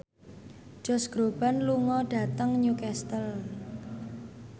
Josh Groban lunga dhateng Newcastle